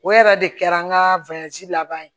O yɛrɛ de kɛra an ka laban ye